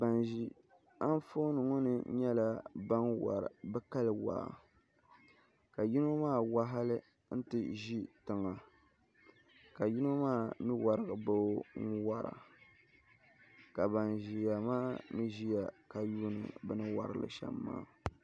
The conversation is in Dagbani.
bana ʒi anfooni ŋɔ ni nyɛla bana wari bɛ kali waa ka yino maa wa hali nti ʒi tiŋa ka yino maa mi warigi ba o n-wara ka bana ʒiya maa mi ʒiya ka yuuni bɛ ni wari li shɛm maa